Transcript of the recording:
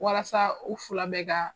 Walasa u fila bɛɛ ka